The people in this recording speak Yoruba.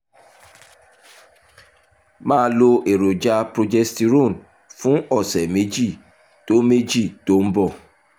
máa lo èròjà progesterone fún ọ̀sẹ̀ méjì tó méjì tó ń bọ̀